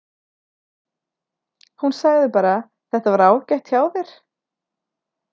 Hún sagði bara: Þetta var ágætt hjá þér.